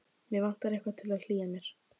Mig vantar eitthvað til að hlýja mér á.